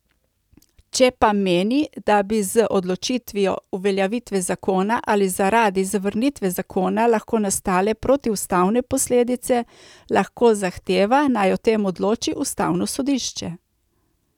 Če pa meni, da bi z odložitvijo uveljavitve zakona ali zaradi zavrnitve zakona lahko nastale protiustavne posledice, lahko zahteva, naj o tem odloči ustavno sodišče.